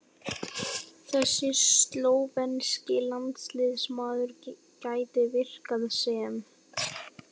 Þessi slóvenski landsliðsmaður gæti virkað sem